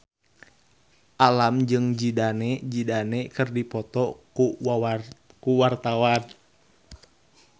Alam jeung Zidane Zidane keur dipoto ku wartawan